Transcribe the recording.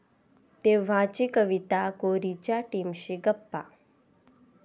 तेव्हाची कविता कोरी...'च्या टीमशी गप्पा